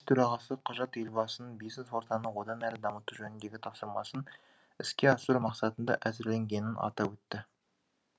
төрағасы құжат елбасының бизнес ортаны одан әрі дамыту жөніндегі тапсырмасын іске асыру мақсатында әзірленгенін атап өтті